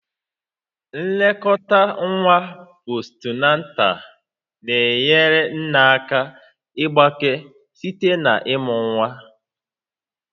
Nlekọta nwa postnatal na-enyere nne aka ịgbake site na ịmụ nwa